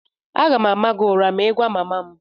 m ga-ama gị ụra ma ị gwa mama m